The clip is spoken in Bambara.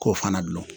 K'o fana dun